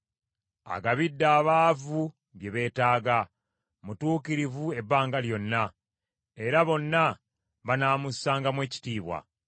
Agabidde abaavu bye beetaaga; mutuukirivu ebbanga lyonna; era bonna banaamussangamu ekitiibwa.